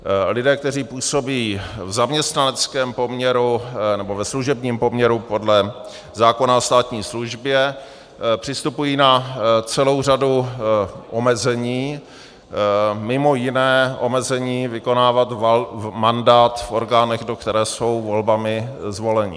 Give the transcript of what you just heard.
Lidé, kteří působí v zaměstnaneckém poměru nebo ve služebním poměru podle zákona o státní službě, přistupují na celou řadu omezení, mimo jiné omezení vykonávat mandát v orgánech, do které jsou volbami zvoleni.